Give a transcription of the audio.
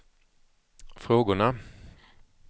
frågorna